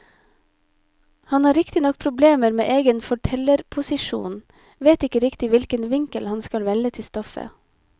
Han har riktignok problemer med egen fortellerposisjon, vet ikke riktig hvilken vinkel han skal velge til stoffet.